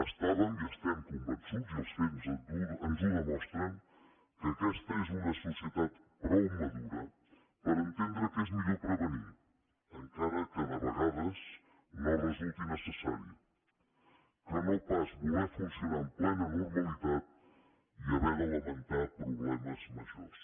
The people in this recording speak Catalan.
estàvem i estem convençuts i els fets ens ho demostren que aquesta és una societat prou madura per entendre que és millor prevenir encara que de vegades no resulti necessari que no pas voler funcionar amb plena normalitat i haver de lamentar problemes majors